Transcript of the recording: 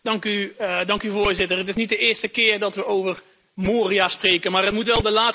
Voorzitter, het is niet de eerste keer dat we over Moria spreken, maar het moet wel de laatste keer zijn.